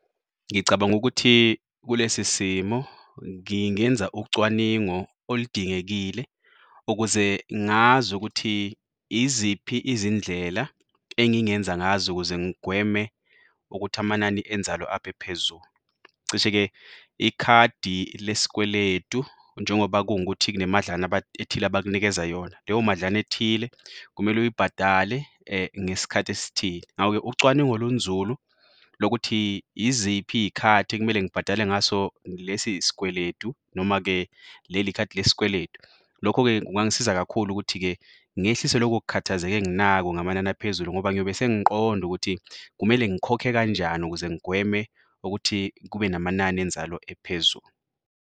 Ngicabanga ukuthi kulesi simo ngingenza ucwaningo oludingekile ukuze ngazi ukuthi iziphi izindlela engingenza ngazo ukuze ngigweme ukuthi amanani enzalo aphe phezulu. Cishe-ke ikhadi lesikweletu njengoba kungukuthi kunemadlana ethile abakunikeza yona. Leyo madlana ethile kumele uyibhadale ngesikhathi esithile. Ngako-ke, ucwaningo olunzulu lokuthi iziphi iy'khathi ekumele ngibhadale ngaso lesi sikweletu, noma-ke leli khadi lesikweletu. Lokho-ke kungangisiza kakhulu ukuthi-ke ngehlise loko kukhathazeka enginako ngamanani aphezulu ngoba ngiyobe sengiqonda ukuthi kumele ngikhokhe kanjani ukuze ngigweme ukuthi kube namanani enzalo ephezulu.